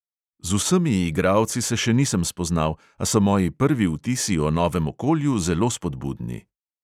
Z vsemi igralci se še nisem spoznal, a so moji prvi vtisi o novem okolju zelo spodbudni.